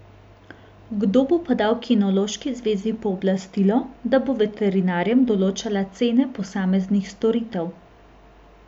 Kdo pa bo dal kinološki zvezi pooblastilo, da bo veterinarjem določala cene posameznih storitev?